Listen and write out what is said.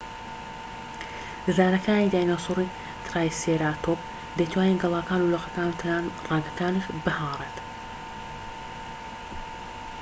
ددانەکانی دایناسۆری ترایسێراتۆپ دەیتوانی گەلاکان و لقەکان و تەنانەت ڕەگەکانیش بهاڕێت